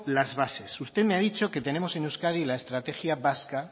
las bases usted me ha dicho que tenemos en euskadi la estrategia vasca